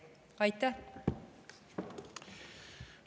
Aitäh!